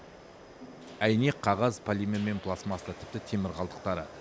әйнек қағаз полимер мен пластмасса тіпті темір қалдықтары